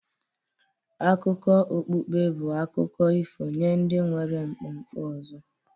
Akụkọ okpukpe bụ akụkọ ifo nye ndị nwere nkwenkwe ọzọ